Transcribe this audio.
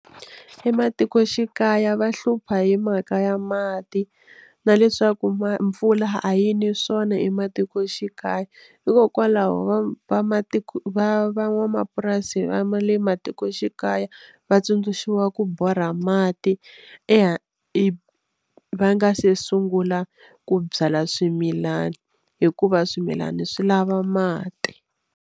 Ematikoxikaya va hlupha hi mhaka ya mati na leswaku ma mpfula a yini swona ematikoxikaya hikokwalaho va vamatiko van'wamapurasi va ma le matikoxikaya va tsundzuxiwa ku borha mati eya i va nga se sungula ku byala swimilani hikuva swimilana swi lava mati.